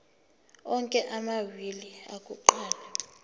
onke amawili akuqala